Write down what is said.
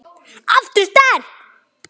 Aftur sterk.